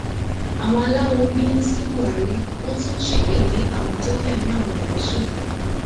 àwọn aláwo ń bínú sí buhari wọn tún ṣépè lé àwọn tó fẹmí àwọn odò ṣòfò